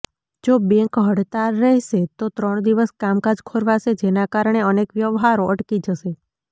જો બેંક હડતાળ રહેશે તો ત્રણ દિવસ કામકાજ ખોરવાશે જેના કારણે અનેક વ્યવહારો અટકી જશે